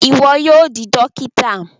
Iwọ yóò di dókítà